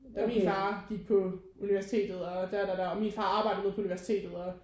Da min far gik på universitetet og da da da og min far arbejder nede på universitetet og